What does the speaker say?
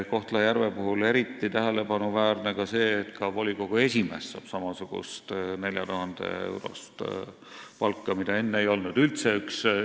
Kohtla-Järve puhul on eriti tähelepanuväärne see, et ka volikogu esimees saab samasugust, 4000-eurost palka, mida enne üldse ei olnud.